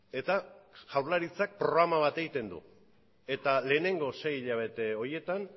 eta jaurlaritzak programa bat egiten du eta lehenengo sei hilabete horietan